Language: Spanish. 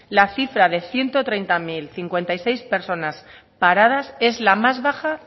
la cifra de ciento treinta mil cincuenta y seis personas paradas es la más baja